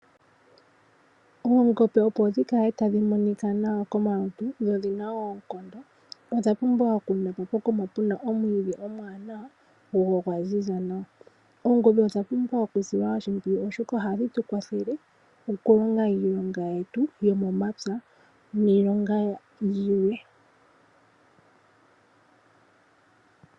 Oongombe opo dhi kale tadhi monika nawa komalutu nodhi na oonkondo odha pumbwa okulithwa pokuma pu na omwiidhi omuwanawa go ogwa ziza nawa. Oongombe odha pumbwa okusilwa oshimpwiyu, oshoka ohadhi tu kwathele okulonga iilonga yetu yomomapya niilonga yimwe.